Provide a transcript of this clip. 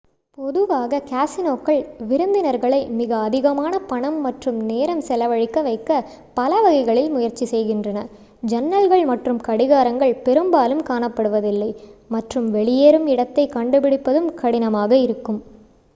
பொதுவாக கேஸினோக்கள் விருந்தினர்களை மிக அதிகமான பணம் மற்றும் நேரம் செலவழிக்க வைக்க பலவகைகளில் முயற்சிக்கின்றன ஜன்னல்கள் மற்றும் கடிகாரங்கள் பெரும்பாலும் காணப்படுவதில்லை மற்றும் வெளியேறும் இடத்தை கண்டுபிடிப்பதும் கடினமாக இருக்கும்